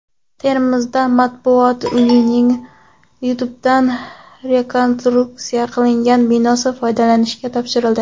Termizda Matbuot uyining tubdan rekonstruksiya qilingan binosi foydalanishga topshirildi.